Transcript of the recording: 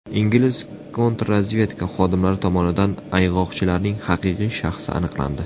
Ingliz kontrrazvedka xodimlari tomonidan ayg‘oqchilarning haqiqiy shaxsi aniqlandi.